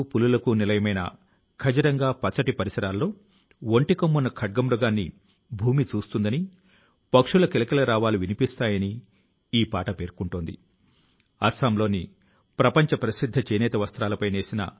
మన దేశం లో ప్రజలు దృఢ సంకల్పం తో గనక ఉంటే దేశవ్యాప్తంగా గల మన ప్రాచీన కళల ను అందంగా తీర్చిదిద్దే కాపాడుకోవాలనే తపన ఒక ప్రజా ఉద్యమ రూపాన్ని తీసుకోవచ్చు